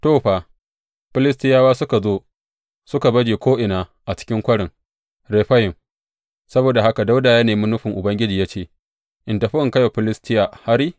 To, fa, Filistiyawa suka zo suka baje ko’ina a cikin Kwarin Refayim; saboda haka Dawuda ya nemi nufin Ubangiji ya ce, In tafi in kai wa Filistiya hari?